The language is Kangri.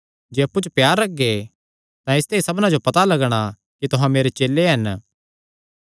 जे अप्पु च प्यार रखगे तां इसते ई सबना जो पता लगणा कि तुहां मेरे चेले हन